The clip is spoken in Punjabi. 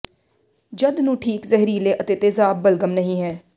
ਜਦ ਨੂੰ ਠੀਕ ਜ਼ਹਿਰੀਲੇ ਅਤੇ ਤੇਜ਼ਾਬ ਬਲਗਮ ਨਹੀ ਹੈ